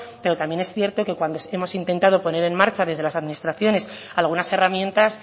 pero también es cierto que cuando hemos intentado poner en marcha desde las administraciones algunas herramientas